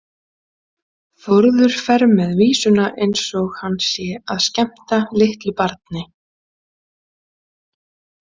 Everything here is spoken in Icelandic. Þórður fer með vísuna eins og hann sé að skemmta litlu barni.